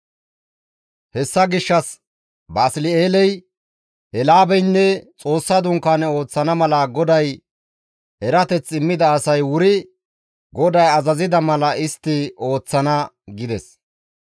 «Hessa gishshas Basli7eeley, Eelaabeynne Xoossa Dunkaane ooththana mala GODAY erateth immida asay wuri GODAY azazida mala istti ooththana» gides.